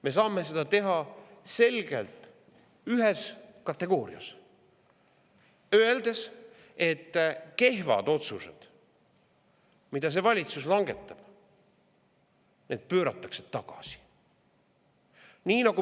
Me saame seda teha selgelt ühes kategoorias: öeldes, et kehvad otsused, mida see valitsus langetab, pööratakse tagasi.